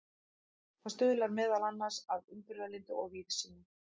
Það stuðlar meðal annars að umburðarlyndi og víðsýni.